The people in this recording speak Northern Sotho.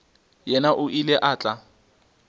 yena o ile a tla